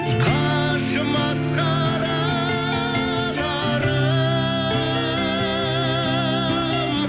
қажымас қара нарым